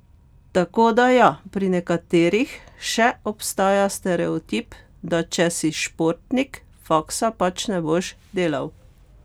Tako da ja, pri nekaterih še obstaja stereotip, da če si športnik, faksa pač ne boš delal.